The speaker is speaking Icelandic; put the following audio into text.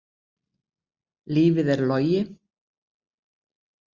Lífið er logi.